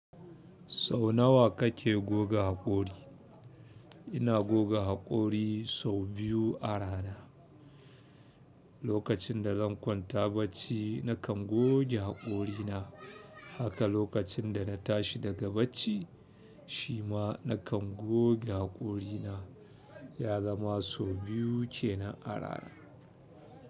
Sau nawa kake goga haƙori? Ina goga haƙori sau biyu a rana. Lokacin da zan kwanta bacci nakan goge haƙorina, haka lokacin da na tashi daga bacci shi ma nakan goge haƙorina ya zama sau biyu kenan arana.